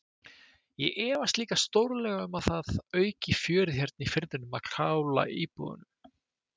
Ég efast líka stórlega um að það auki fjörið hérna í firðinum að kála íbúunum.